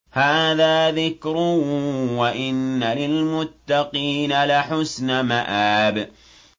هَٰذَا ذِكْرٌ ۚ وَإِنَّ لِلْمُتَّقِينَ لَحُسْنَ مَآبٍ